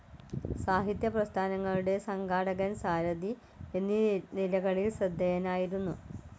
സാഹിത്യ പ്രസ്ഥാനങ്ങളുടെ സംഘാടകൻ സാരഥി, എന്നീ നിലകളിൽ ശ്രദ്ധേയനായിരുന്നു.